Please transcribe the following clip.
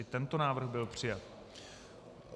I tento návrh byl přijat.